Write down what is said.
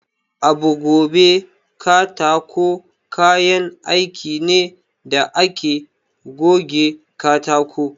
Abu gove katako kayan aiki ne da ake goge katako.